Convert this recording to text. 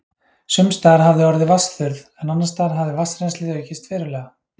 Sums staðar hafði orðið vatnsþurrð, en annars staðar hafði vatnsrennslið aukist verulega.